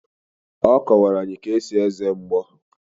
Ọ kọwara anyị ka esi eze mgbo.